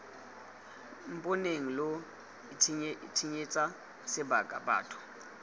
mponeng lo itshenyetsa sebaka batho